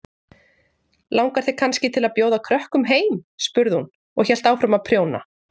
Langar þig kannski til að bjóða krökkum heim? spurði hún og hélt áfram að prjóna.